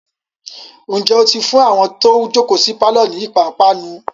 ǹjẹ́ ó ti fún àwọn tó jòkó sí pálọ̀ ni ìpápánu?